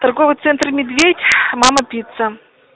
торговый центр медведь мама пицца